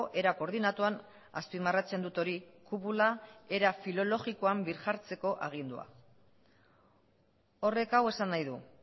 era koordinatuan azpimarratzen dut hori kupula era filologikoan birjartzeko agindua horrek hau esan nahi du